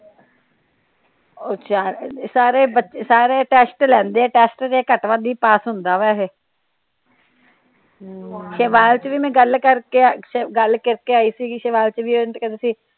ਸਾਰੇ ਬੱਚੇ ਸਾਰੇ ਟੈਸਟ ਲੈਂਦੇ ਆ ਟੈਸਟ ਤਾ ਘੱਟ ਵੱਧ ਈ ਪਾਸ ਹੁੰਦਾ ਆ ਵੈਸੇ ਤੇ ਬਾਅਦ ਚ ਵੀ ਮੈ ਗੱਲ ਕਰਕੇ ਗੱਲ ਕਰਕੇ ਆਈ ਸੀ ਉਹ ਕਹਿੰਦੇ ਸੀ।